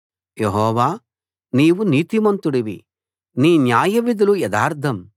యెహోవా నీవు నీతిమంతుడివి నీ న్యాయవిధులు యథార్థం